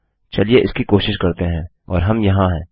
चलिए इसकी कोशिश करते हैं और हम यहाँ हैं